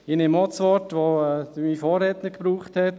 Ich nehme auch das Wort auf, das mein Vorredner verwendet hat: